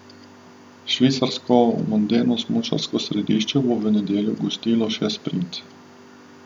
Švicarsko mondeno smučarsko središče bo v nedeljo gostilo še sprint.